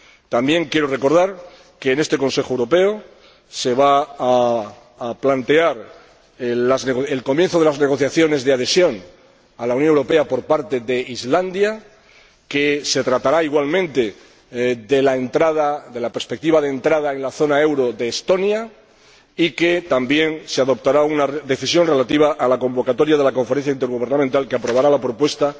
También quiero recordar que en este Consejo Europeo se va a plantear el comienzo de las negociaciones de adhesión a la Unión Europea por parte de Islandia, que se va a tratar igualmente de la perspectiva de entrada en la zona euro de Estonia y que también se adoptará una decisión relativa a la convocatoria de la Conferencia intergubernamental que aprobará la propuesta